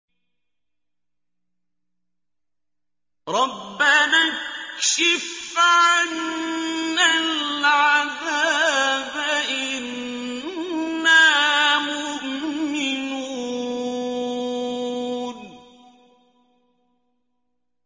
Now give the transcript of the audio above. رَّبَّنَا اكْشِفْ عَنَّا الْعَذَابَ إِنَّا مُؤْمِنُونَ